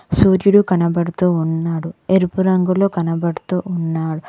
సూర్యుడు కనపడుతూ ఉన్నాడు ఎరుపు రంగులో కనబడుతు ఉన్నాడు.